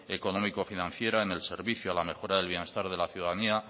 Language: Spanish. económico financiera en el servicio la mejora del bienestar de la ciudadanía